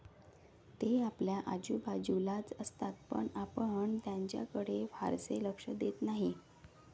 ते आपल्या आजूबाजूलाच असतात पण आपण त्यांच्याकडे फारसे लक्ष देत नाही.